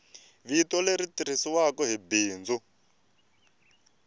vito leri tirhisiwaku hi bindzu